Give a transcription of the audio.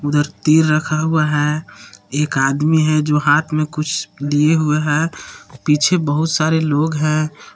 उधर तीर रखा हुआ है। एक आदमी है जो हाथ मे कुछ लिए हुए है पीछे बहुत सारे लोग है।